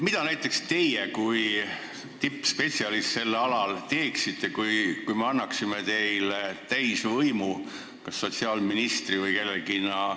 Mida näiteks teie kui selle ala tippspetsialist teeksite, kui me annaksime teile täisvõimu kas sotsiaalministri või kellegi teisena?